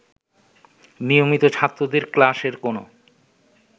নিয়মিত ছাত্রদের ক্লাসের কোন